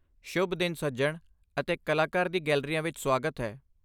ਸ਼ੁਭ ਦਿਨ, ਸੱਜਣ, ਅਤੇ ਕਲਾਕਾਰ ਦੀ ਗੈਲਰੀਆ ਵਿੱਚ ਸੁਆਗਤ ਹੈ!